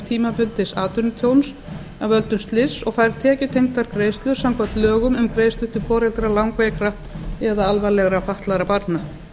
tímabundins atvinnutjóns af völdum slyss og fær tekjutengdar greiðslur samkvæmt lögum um greiðslur til foreldra langveikra eða alvarlegra fatlaða barna